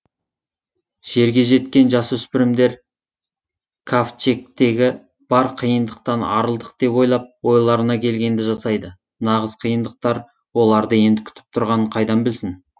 жерге жеткен жасөспірмдер кавчегтегі бар қиыныдқтан арылдық деп ойлап ойларына келгенді жасайды нағыз қиыныдқтар оларды енді күтіп тұрғанын қайдан білсін